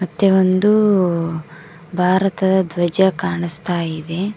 ಮತ್ತೆ ಒಂದು ಭಾರತದ ಧ್ವಜ ಕಾಣಿಸ್ತಾ ಇದೆ.